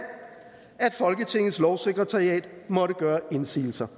at folketingets lovsekretariat måtte gøre indsigelser